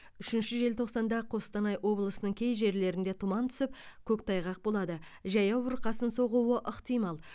үшінші желтоқсанда қостанай облысының кей жерлерінде тұман түсіп көктайғақ болады жаяу бұрқасын соғуы ықтимал